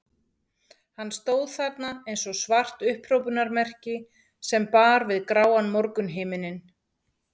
Hann stóð þarna eins og svart upphrópunarmerki sem bar við gráan morgunhimininn.